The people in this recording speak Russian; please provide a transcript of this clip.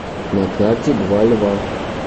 на карте два льва